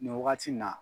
Nin wagati in na